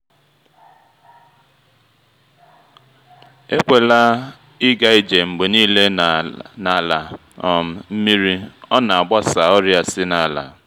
ekwela ịga ije mgbe niile n’ala um nmiri ọ na-agbasa ọrịa si na’ala.